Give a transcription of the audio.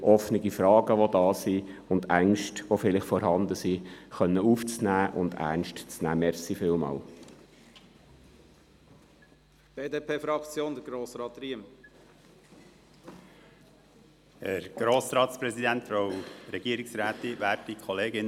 Dies, damit offene Fragen beantwortet und Ängsten, die vielleicht vorhanden sind, aufgenommen und ernst genommen werden können.